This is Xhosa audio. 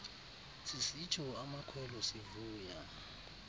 sisitsho amakhwelo sivuya